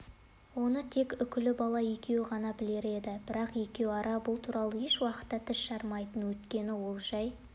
оны тек үкібала екеуі ғана білер еді бірақ екеуара бұл туралы еш уақытта тіс жармайтын өйткені ол жай